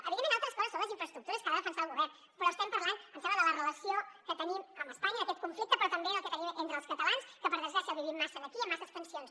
evidentment altres coses són les infraestructures que ha de defensar el govern però estem parlant em sembla de la relació que tenim amb espanya d’aquest conflicte però també del que tenim entre els catalans que per desgràcia el vivim massa aquí i amb massa tensions